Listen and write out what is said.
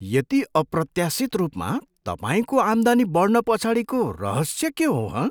यति अप्रत्याशित रूपमा तपाईँको आम्दानी बढ्न पछाडिको रहस्य के हो हँ?